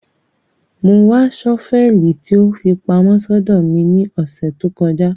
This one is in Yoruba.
Mo ńwa ṣọ́fẹlì tí ó fi pamọ́ sódó mi ni ọsẹ to kọja